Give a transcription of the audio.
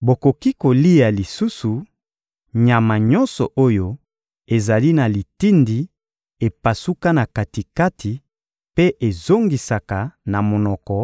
Bokoki lisusu kolia nyama nyonso oyo ezali na litindi epasuka na kati-kati mpe ezongisaka na monoko